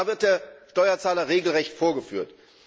Da wird der Steuerzahler regelrecht vorgeführt.